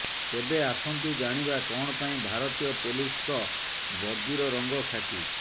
ତେବେ ଆସନ୍ତୁ ଜାଣିବା କଣ ପାଇଁ ଭାରତୀୟ ପୋଲିସଙ୍କ ବର୍ଦ୍ଦିର ରଙ୍ଗ ଖାକି